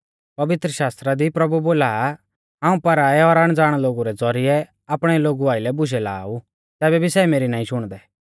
पवित्रशास्त्रा दी प्रभु बोला आ हाऊं पराऐ और अणज़ाण लोगु रै ज़ौरिऐ आपणै लोगु आइलै बुशै लाआ ऊ तैबै भी सै मेरी नाईं शुणदै